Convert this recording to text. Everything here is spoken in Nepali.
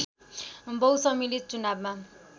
बहुसम्मिलित चुनावमा